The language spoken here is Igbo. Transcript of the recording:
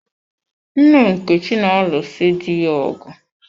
Nne Nkechi na-alụ si di ya ọgụ.